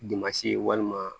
walima